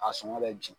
A sɔngɔ bɛ jigin